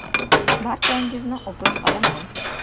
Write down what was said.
Barchangizni o‘pib qolaman.